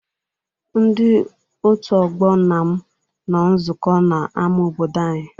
Ndị òtù ọgbọ nna m nọ nzukọ n'ama obodo anyị.